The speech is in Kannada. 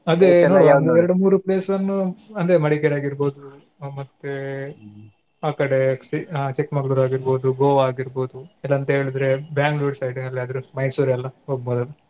ಅದೆ ನೋಡುವ ಒಂದ್ ಎರ್ಡ್ ಮೂರು place ನು ಅಂದ್ರೆ Madikeri ಆಗೀರ್ಬೋದು ಅಹ್ ಮತ್ತೆ ಆಕಡೆ Chikkamagalore ಆಗೀರ್ಬೋದು Goa ಆಗೀರ್ಬೋದು ಇಲ್ಲಾಂತ ಹೇಳಿದ್ರೆ bangalore side ಎಲ್ಲಾದ್ರು Mysore ಎಲ್ಲಾ ಹೋಗ್ಬೋದ್ ಅಲ್ಲಾ.